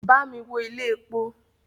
Bámi wo ilé epo!